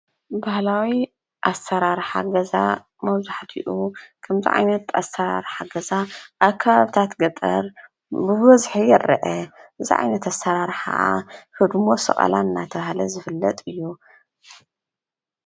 በህላዊ ኣሠራርሓ ገዛ መውብዛሕቲኡ ከምዚ ዓይነት ኣሰራር ሓገዛ ኣብ ከባቢታት ገጠር ብበዝሒ ይኣረአ፡፡ እዚ ዓይነት ኣሰራርሓ ኸዓ ህድሞ ሰቐላን እናተባሃለ ዝፍለጥ እዩ፡፡